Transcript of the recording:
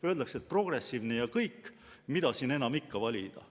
Öeldakse, et progressiivne ja kõik, mida siin enam ikka valida.